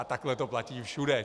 A takhle to platí všude.